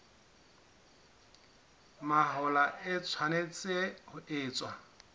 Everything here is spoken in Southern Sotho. mahola e tshwanetse ho etswa